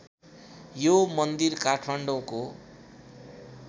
यो मन्दिर काठमाडौँको